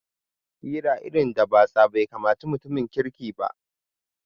Hira irin da batsa bai kamaci mutum kirki ba